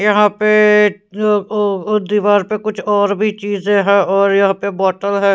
यहां पे दीवार ओ ओ पे कुछ और भी चीजें है और यहां पे बोतल है.